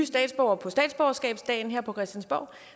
statsborgere på statsborgerskabsdagen her på christiansborg